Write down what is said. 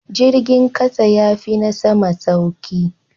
Jirgin kasa yafi na sama sauki.